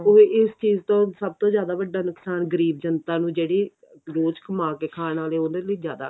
ਇਸ ਚੀਜ ਤੋਂ ਸਭ ਤੋਂ ਵੱਡਾ ਨੁਕਸਾਨ ਗਰੀਬ ਜੰਤਾ ਨੂੰ ਜਿਹੜੀ ਰੋਜ ਕਮਾਕੇ ਖਾਣ ਵਾਲੇ ਉਹਦੇ ਲਈ ਜਿਆਦਾ ਔਖਾ